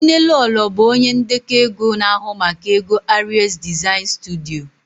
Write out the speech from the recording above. Nnelolo bụ onye ndekọ ego na-ahụ maka ego Aries Design Studio